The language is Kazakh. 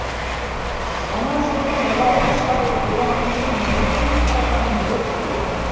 ана жылғы мұғалім шал боранқұлдың неден ұсталғанын білесің бе